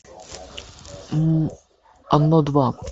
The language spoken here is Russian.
оно два